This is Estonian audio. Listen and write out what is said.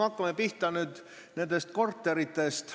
Hakkame pihta nendest korteritest.